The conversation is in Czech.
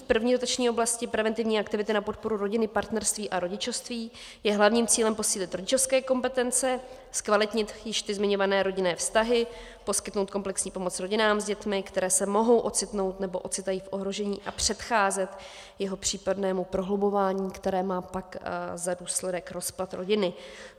V první dotační oblasti Preventivní aktivity na podporu rodiny, partnerství a rodičovství je hlavním cílem posílit rodičovské kompetence, zkvalitnit již ty zmiňované rodinné vztahy, poskytnout komplexní pomoc rodinám s dětmi, které se mohou ocitnout nebo ocitají v ohrožení, a předcházet jeho případného prohlubování, které má pak za důsledek rozpad rodiny.